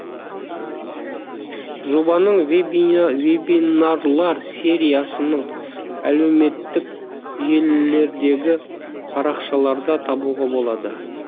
жобаның вебинарлар сериясынының әлеуметтік желілердегі парақшаларда табуға болады